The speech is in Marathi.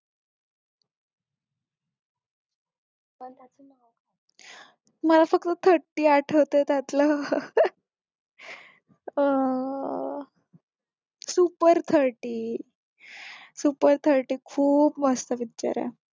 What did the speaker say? मला फक्त thirty आठवतंय त्यातलं अं super thirty super thirty खूप मस्त picture आहे